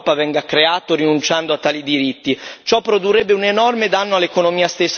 In nessuna maniera possiamo accettare che il lavoro in Europa venga creato rinunciando a tali diritti.